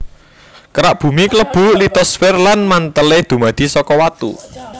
Kerak Bumi klebu litosfer lan mantèlé dumadi saka watu